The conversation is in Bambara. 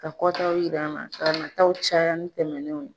Ka kɔtaw yira an na ka nataa caya ni tɛmɛnw ye.